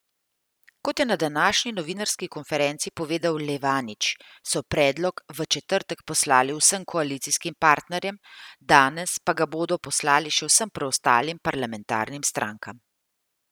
Kot je na današnji novinarski konferenci povedal Levanič, so predlog v četrtek poslali vsem koalicijskim partnerjem, danes pa ga bodo poslali še vsem preostalim parlamentarnim strankam.